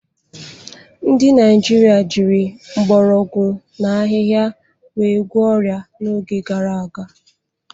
Ndị Naijiria jiri mgbọrọgwụ na ahịhịa wee gwọọ ọrịa n'oge gara aga.